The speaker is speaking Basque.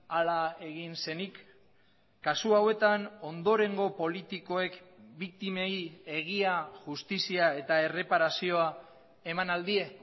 hala egin zenik kasu hauetan ondorengo politikoek biktimei egia justizia eta erreparazioa eman al die